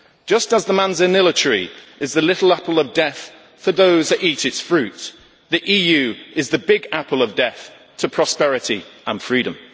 Just as the manzanilla tree is the little apple of death for those that eat its fruit, the EU is the big apple of death to prosperity and freedom.